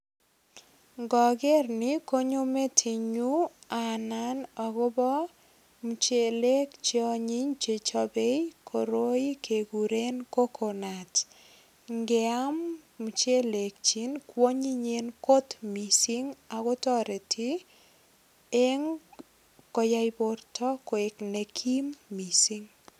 Ngoger ni kometinyu anan agobo muchelek che anyiny che chopei koroi keguren kokonut. Ngeam muchelekyik kwonyinyen kot mising ago toreti eng koyai borto koek nekim mising.